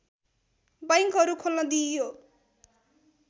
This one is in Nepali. बैङ्कहरू खोल्न दिइयो